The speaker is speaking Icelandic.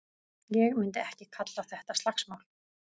Ég myndi ekki kalla þetta slagsmál.